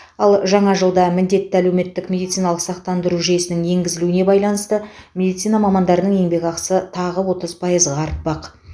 ал жаңа жылда міндетті әлеуметтік медициналық сақтаныру жүйесінің енгізілуіне байланысты медицина мамандарының еңбекақысы тағы отыз пайызға артпақ